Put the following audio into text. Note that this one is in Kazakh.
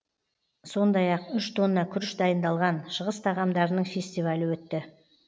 сондай ақ үш тонна күріш дайындалған шығыс тағамдарының фестивалі өтті